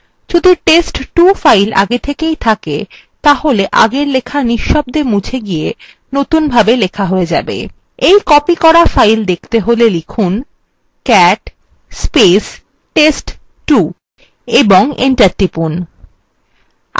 যদি test2 file আগে থেকেই থাকে তাহলে আগের লেখা নিঃশব্দে মুছে গিয়ে নতুনভাবে লেখা হয়ে যাবে এই copied করা file দেখতে হলে লিখুন